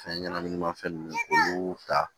Fɛn ɲɛnɛminimafɛn ninnu olu ta